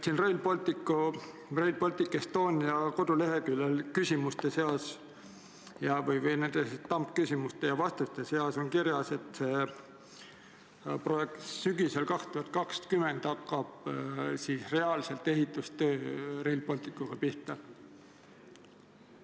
Rail Baltic Estonia kodulehel on küsimuste ja vastuste juures kirjas, et 2020. aasta sügisel hakkab Rail Balticu ehitustöö reaalselt pihta.